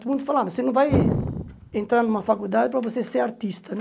Todo mundo falava, você não vai entrar numa faculdade para você ser artista, né?